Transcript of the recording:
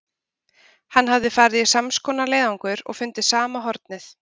Hann hafði farið í sams konar leiðangur og fundið sama hornið.